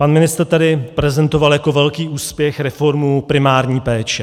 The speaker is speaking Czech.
Pan ministr tady prezentoval jako velký úspěch reformu primární péče.